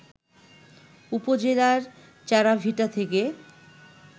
উপজেলার চাড়াভিটা থেকে